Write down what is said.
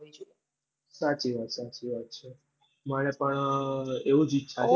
સાચી વાત સાચી વાત છે મને પણ એવું જ ઈચ્છા હતી